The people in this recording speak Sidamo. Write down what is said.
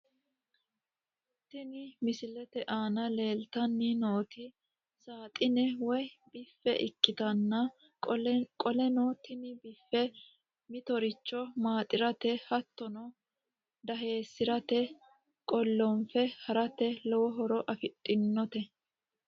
Tini mosilete aana leeltanni nooti saaxine woy biffe ikkitanna qoleno tini biffe mittoricho maaxirate hattono daheessirate qollonfe harate lowo horo afidhinote.